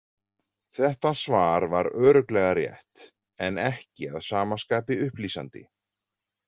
Þetta svar var örugglega rétt, en ekki að sama skapi upplýsandi.